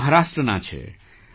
તેઓ મહારાષ્ટ્રનાં છે